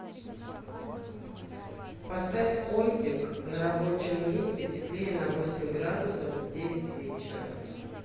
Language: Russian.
поставь кондик на рабочем месте теплее на восемь градусов в девять вечера